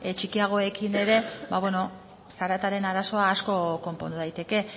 txikiagoekin ere ba beno zarataren arazoa asko konpondu daiteke